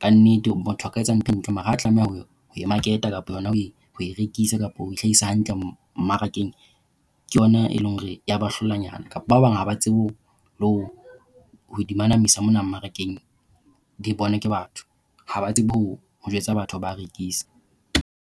kannete motho a ka etsa ntho mara ha tlameha hore ho market-a kapa hona ho e rekisa kapa ho hlakisa hantle mmarakeng, ke yona e leng hore ya ba hlolanyana kapa ba bang haba tsebe hore le ho di manamisa mona mmarakeng di bonwe ke batho. Ha ba tsebe ho ho jwetsa batho ba a rekisa.